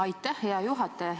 Aitäh, hea juhataja!